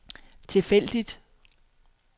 tilfældigt